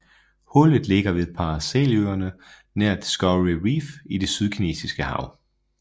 Hullet ligger ved Paraceløerne nær Discovery Reef i Det Sydkinesiske hav